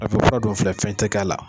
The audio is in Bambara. A n'a fɔ fura dɔ filɛ fɛn tɛ k'a la